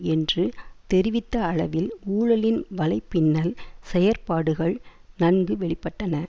என்று தெரிவித்த அளவில் ஊழலின் வலைப்பின்னல் செயற்பாடுகள் நன்கு வெளிப்பட்டன